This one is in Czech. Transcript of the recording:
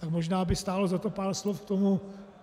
Tak možná by stálo za to pár slov k tomu.